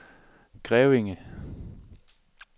Grevinge